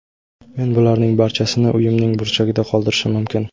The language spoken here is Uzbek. Men bularning barchasini uyimning burchagida qoldirishim mumkin.